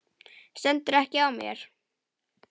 Stendur ekki á mér.